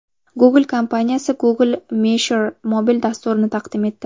Google kompaniyasi Google Measure mobil dasturini taqdim etdi.